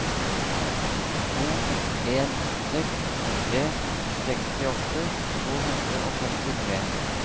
to en seks tre sekstiåtte to hundre og femtitre